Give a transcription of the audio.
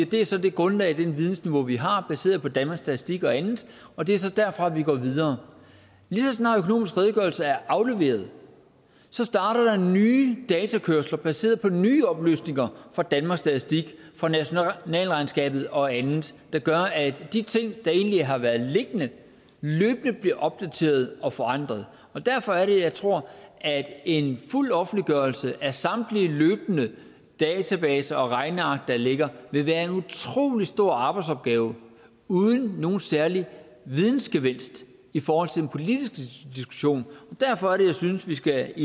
det er så det grundlag og det vidensniveau vi har baseret på danmarks statistik og andet og det er så derfra vi går videre lige så snart økonomisk redegørelse er afleveret starter der nye datakørsler baseret på nye oplysninger fra danmarks statistik og nationalregnskabet og andet der gør at de ting der egentlig har været liggende løbende bliver opdateret og forandret derfor er det jeg tror at en fuld offentliggørelse af samtlige løbende databaser og regneark der ligger vil være en utrolig stor arbejdsopgave uden nogen særlig vidensgevinst i forhold til den politiske diskussion derfor er det jeg synes vi skal